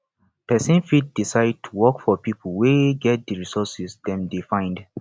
persin fit decide to work for pipo wey get di resources dem de find